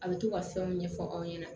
A bɛ to ka fɛnw ɲɛfɔ aw ɲɛna